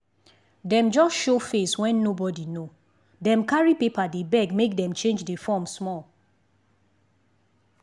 dem just show face wen nobody know dem carry paper dey beg make dem change the form small